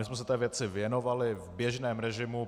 My jsme se této věci věnovali v běžném režimu.